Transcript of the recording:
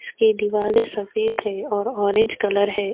اسکے دوالے سفید ہے اور اورینج کلر ہے۔